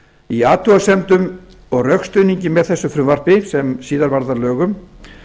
í athugasemdum og rökstuðningi með þessu frumvarpi sem síðar varð að lögum